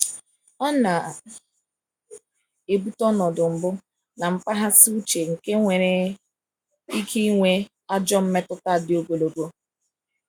ọna ebuta ọnọdụ mgbụ na mkpaghasi uche nke nwere ike nwe ajọ mmetuta di ogologo